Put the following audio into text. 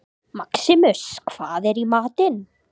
Maximus, hvað er í matinn?